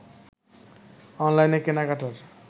অনলাইনে কেনাকাটার